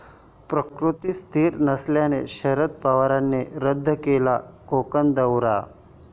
प्रकृती स्थिर नसल्याने शरद पवारांनी रद्द केला कोकण दौरा